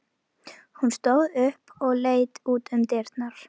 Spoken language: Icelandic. Hún stóð upp og leit út um dyrnar.